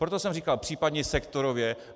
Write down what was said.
Proto jsem říkal případně sektorově.